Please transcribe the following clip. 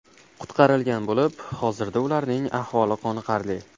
qutqarilgan bo‘lib, hozirda ularning ahvoli qoniqarli.